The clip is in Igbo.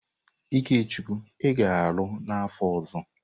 Ikechukwu ị ga-alụ n'afọ ọzọ!